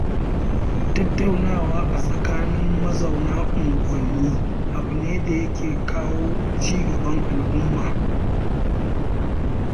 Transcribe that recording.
Tattaunawa a tsakanin mazauna unguwanni abu ne da ya ke kawo ci gaban al'umma.